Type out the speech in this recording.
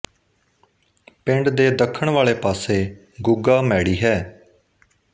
ਪਿੰਡ ਦੇ ਦੱਖਣ ਵਾਲੇ ਪਾਸੇ ਗੁੱਗਾ ਮੈੜੀ ਹੈ